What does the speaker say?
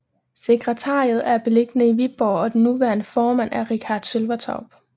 Sekretariatet er beliggende i Viborg og den nuværende formand er Richardt Sølvertorp